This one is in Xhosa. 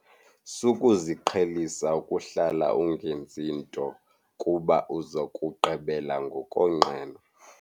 Sukuziqhelisa ukuhlala ungenzi nto kuba uza kugqibela ngokonqena.